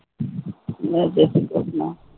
ને જય શ્રી કૃષ્ણ